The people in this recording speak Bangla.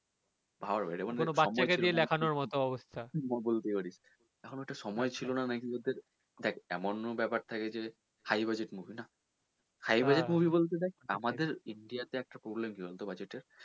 সময় ছিল না নাকি এদের দেখ এমনও ব্যাপার থাকে যে high budget movie না! high budget Movie বলতে দেখ আমাদের India তে একটা problem কি বলতো budget এর